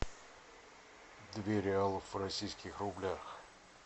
две реалов в российских рублях